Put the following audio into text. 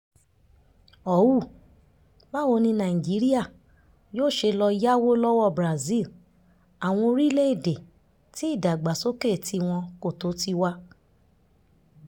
họ́wù báwo ni nàìjíríà yóò ṣe lọ́ọ́ yáwó lọ́wọ́ brazil àwọn orílẹ̀-èdè tí ìdàgbàsókè tiwọn kò tó tiwa